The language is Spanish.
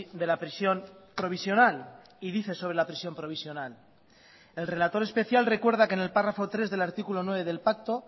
de la prisión provisional y dice sobre la prisión provisional el relator especial recuerda que en el párrafo tres del artículo nueve del pacto